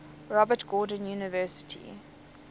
robert gordon university